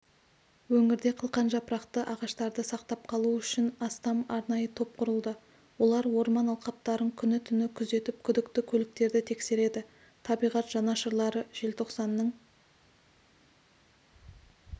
өңірде қылқанжапырақты ағаштарды сақтап қалу үшін астам арнайы топ құрылды олар орман алқаптарын күні-түні күзетіп күдікті көліктерді тексереді табиғат жанашырлары желтоқсанның